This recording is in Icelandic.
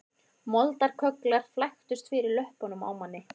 Moldarkögglar flæktust fyrir löppunum á manni